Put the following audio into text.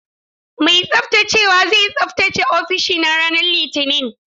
Mai tsaftacewa zai tsaftace ofishina ranar Litinin.